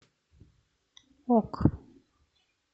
ок